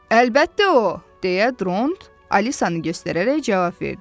Əlbəttə o, deyə Dront Alisanı göstərərək cavab verdi.